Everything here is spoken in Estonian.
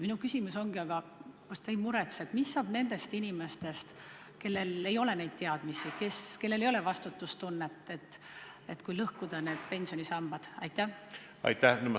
Minu küsimus ongi: kas te ei muretse, et kui lõhkuda teine pensionisammas, siis mis saab nendest inimestest, kellel ei ole neid teadmisi, kellel ei ole vastutustunnet?